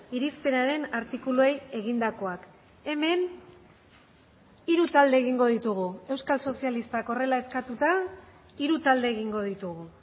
irizpenaren artikuluei egindakoak hemen hiru talde egingo ditugu euskal sozialistak horrela eskatuta hiru talde egingo ditugu